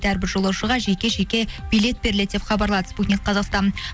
әрбір жолаушыға жеке жеке билет беріледі деп хабарлады спутник қазақстан